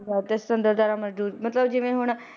ਤੇ ਸੁੰਤਤਰਤਾ ਮਤਲਬ ਜਿਵੇਂ ਹੁਣ,